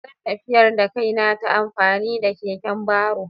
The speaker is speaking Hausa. Zan tafiyar da kaina ta amfani da keken baro.